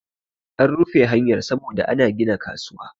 an rufe hanyar saboda ana gina kasuwa